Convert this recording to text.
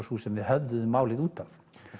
sú sem við höfðuðum málið út af